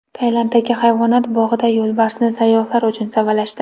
Tailanddagi hayvonot bog‘ida yo‘lbarsni sayyohlar uchun savalashdi .